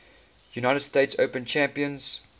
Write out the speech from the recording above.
united states open champions